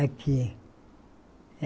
Aqui.